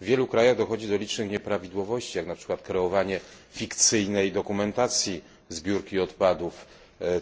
W wielu krajach dochodzi do licznych nieprawidłowości, jak na przykład kreowanie fikcyjnej dokumentacji zbiórki odpadów,